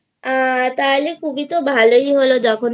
হ্যাঁ তাহলে তো খুব ভালোই হলো